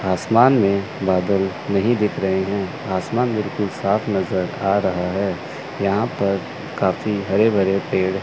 आसमान में बादल नहीं दिख रहे हैं आसमान बिल्कुल साफ नजर आ रहा है यहां पर काफ़ी हरे भरे पेड़--